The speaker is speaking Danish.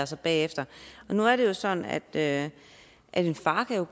sig bagefter nu er det jo sådan at at en far